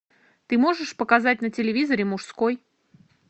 ты можешь показать на телевизоре мужской